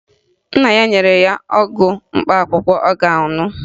Nna ya nyere ya ọgwụ mkpaakwụkwọ ọ ga-aṅụ